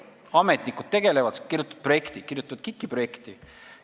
Ametnikud tegelevad sellega, kirjutavad KIK-i projekte.